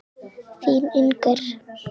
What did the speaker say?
Þín, Inger.